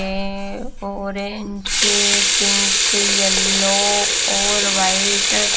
orange pink yellow white --